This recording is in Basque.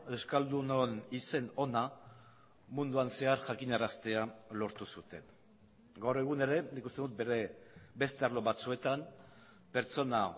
euskaldunon izen ona munduan zehar jakinaraztea lortu zuten gaur egun ere nik uste dut bere beste arlo batzuetan pertsona